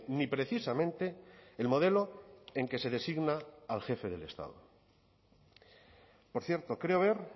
ni precisamente el modelo en que se designa al jefe del estado por cierto creo ver